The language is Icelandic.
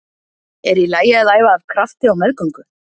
Er í lagi að æfa af krafti á meðgöngu?